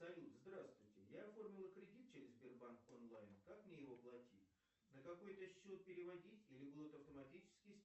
салют здравствуйте я оформила кредит через сбербанк онлайн как мне его платить на какой то счет переводить или будут автоматически